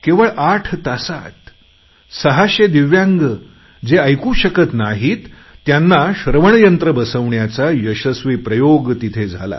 केवळ आठ तासात सहाशे दिव्यांग जे ऐकू शकत नाहीत त्यांना श्रवणयंत्र देण्याचा यशस्वी प्रयोग तिथे झाला